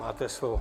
Máte slovo.